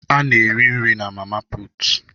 Ana eri nri na mama puutu.